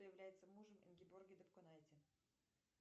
является мужем ингеборги дапкунайте